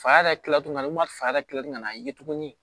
Fa yɛrɛ tila tuguni ka n'u ma fa yɛrɛ tila ka n'a ye tuguni